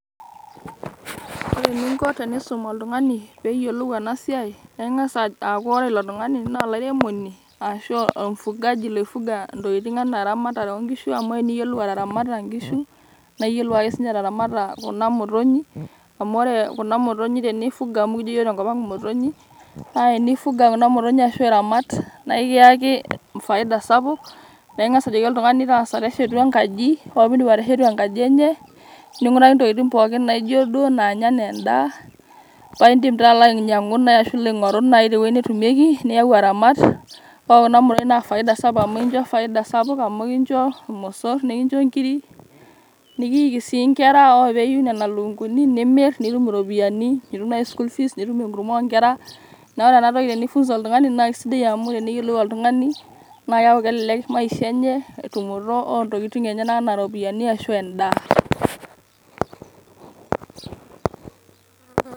Ore eninko pisum oltungani peyiolou ena siai naa ingas aaku ore ilo tungani naa olairemoni ashu ormfugaji loifuga intokitin anaa eramatare oonkishu ,amu teniyiolou ataramata nkishu naa iyiolou ake sinye ataramata kuna motonyik . amu ore kuna motonyik tenifuga amu ekijo yiook tenkopang motonyik. naa tenifuga kuna motonyik ashu iramat naa ekiyaki faida sapuk . naa ingas ajoki oltungani tangasa teshetu enkaji ,ore pindip ateshetu enkaji enye ,ninguraki ntokitin pookin naijo duoo nanya anaa endaa paa indim taa alo ainyiangu ashu aingoru te wuei netumieki ,niyau aramat. ore kuna motonyik naa faida sapuk amu ekincho faida sapuk. amu ekincho irmosorr, nekincho nkiri ,nikiiki sii nkera . ore peiu nena lukunguni ,nimir nitum iropiyiani ,nitum naji school fees ,nitum enkurma oonkera . niaku ore ena toki tenifunza oltungani naa kisidai amu teneyiolou oltungani naa keaku kelelek maisha enye ,entumoto oontokitin enye niaku anaa iropiyiani ashu endaa.